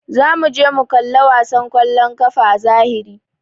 Zamu je mu kalla wasan kwallon kafa a zahiri.